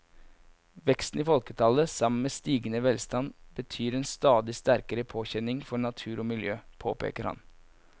Veksten i folketallet sammen med stigende velstand betyr en stadig sterkere påkjenning for natur og miljø, påpeker han.